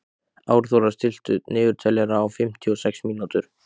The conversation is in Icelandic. Árþóra, stilltu niðurteljara á fimmtíu og sex mínútur.